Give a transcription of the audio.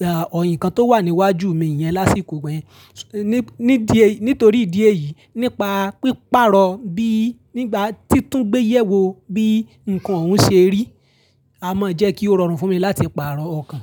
à, nnkan tó wà níwájú mi yẹn lásìkò igba yẹn. Nítorí ìdí èyí, nípa píparọ̀ bí nígbà tí tún gbéyẹ̀wò bí ǹkan ọun ṣe rí, a mọ jẹ́ kí ó rọrùn fún mi láti pààrọ̀ ọkàn.